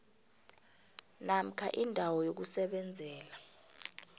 namkha indawo yokusebenzela